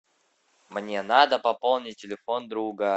мне надо пополнить телефон друга